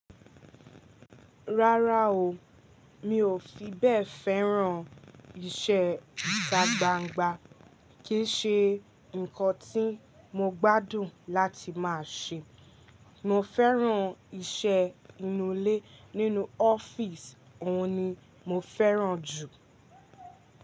Rárá o, mi ò fi bẹ́ẹ̀ fẹ́ràn ìṣe ìtà gbàǹgbà, kì í ṣe nǹkan tí mo gbádùn láti máa ṣe. Mo fẹ́ràn iṣẹ́ inú ilé nínú ọ́fíìsì, òun ni mo fẹ́ràn jù.